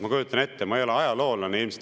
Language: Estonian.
Ma ei ole ajaloolane.